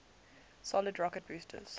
solid rocket boosters